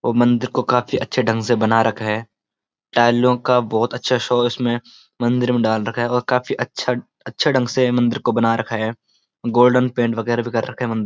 और मंदिर को काफी अच्‍छे ढंग से बना रखा है टाइलों का बहुत अच्‍छा शो उसमें मंदिर में डाल रखा है और काफी अच्‍छा अच्‍छे ढंग से म‍ंदिर को बना रखा है गोल्‍डन पेंट बगैरह भी कर रखा है मंदि --